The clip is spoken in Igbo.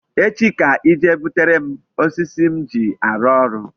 Echi ka I jee butere m osisi m ji arụ orụ.